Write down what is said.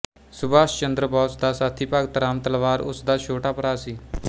ਸੁਭਾਸ਼ ਚੰਦਰ ਬੋਸ ਦਾ ਸਾਥੀ ਭਗਤ ਰਾਮ ਤਲਵਾਰ ਉਸਦਾ ਛੋਟਾ ਭਰਾ ਸੀ